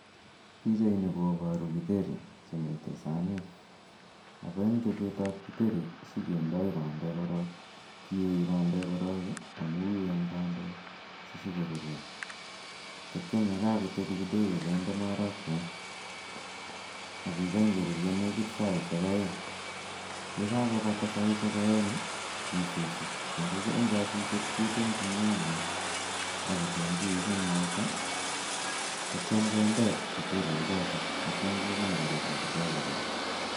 Pichaini koboru kiteri chemiten sanit ako en chobetab kiteri sikindoi bandek ,kiyoe bendek korong amun uen bandek sisibkorurio ak itio yekokotebi kidogo kindee marakwek ak kigen korurio negit saisiek oeng, yekakobata saisiek oeng kisusi ako en kosuset ketumjin nyanyik ak kitunguik ak mwaita ak itio kindee kiterichoton ak ition kekany korurio kidogo koraa.